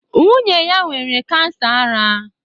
Nwunye ya nwere Kansa ara.